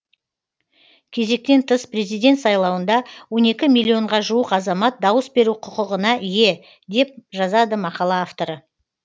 кезектен тыс президент сайлауында он екі миллионға жуық азамат дауыс беру құқығына ие деп жазады мақала авторы